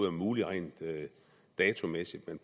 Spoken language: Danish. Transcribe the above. er muligt rent datomæssigt men